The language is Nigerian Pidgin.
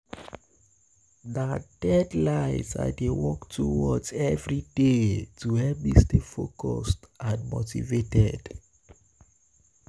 um Na um deadlines I dey work towards every day to help me stay focused um and motivated.